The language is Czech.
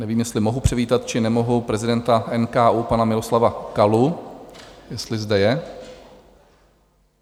Nevím, jestli mohu přivítat, či nemohu prezidenta NKÚ pana Miloslava Kalu, jestli zde je?